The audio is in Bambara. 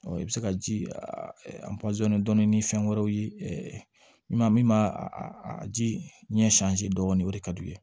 i bɛ se ka ji dɔɔnin ni fɛn wɛrɛw ye i ma min b'a a ji ɲɛ dɔɔnin o de ka d'u ye